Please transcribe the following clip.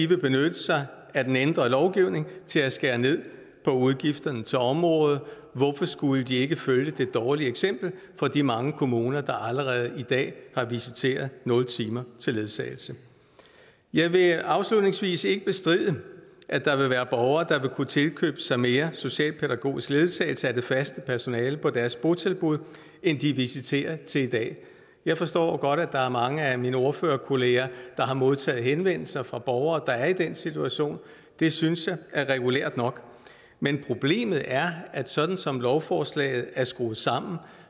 vil benytte sig af den ændrede lovgivning til at skære ned på udgifterne til området hvorfor skulle de ikke følge det dårlige eksempel fra de mange kommuner der allerede i dag har visiteret nul timer til ledsagelse jeg vil afslutningsvis ikke bestride at der vil være borgere der vil kunne tilkøbe sig mere socialpædagogisk ledsagelse af det faste personale på deres botilbud end de er visiteret til i dag jeg forstår at der er mange af mine ordførerkolleger der har modtaget henvendelser fra borgere der er i den situation og det synes jeg er regulært nok men problemet er at sådan som lovforslaget er skruet sammen